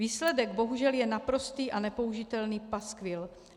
Výsledek, bohužel, je naprostý a nepoužitelný paskvil.